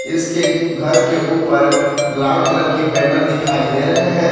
इसके घर के ऊपर लाल कलर की बैनर दिखाई दे रहे हैं।